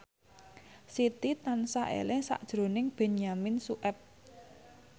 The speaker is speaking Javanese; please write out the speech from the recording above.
Siti tansah eling sakjroning Benyamin Sueb